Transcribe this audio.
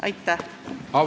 Aitäh!